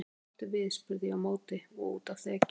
Hvað áttu við spurði ég á móti og úti á þekju.